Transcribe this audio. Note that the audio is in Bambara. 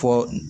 Fɔ